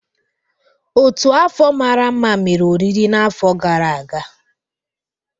Ọ́tù afọ mara mma mere oriri n'afọ gara aga.